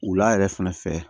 Wula yɛrɛ fɛnɛ fɛ